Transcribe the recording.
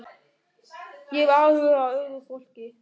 Ég hef áhuga á öðru fólki.